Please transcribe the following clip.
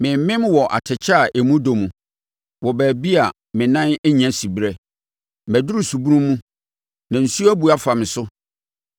Meremem wɔ atɛkyɛ a emu dɔ mu, wɔ baabi a me nan nnya siberɛ. Maduru subunu mu na nsuo abu afa me so.